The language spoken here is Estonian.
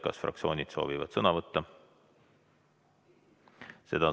Kas fraktsioonid soovivad sõna võtta?